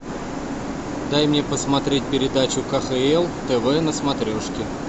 дай мне посмотреть передачу кхл тв на смотрешке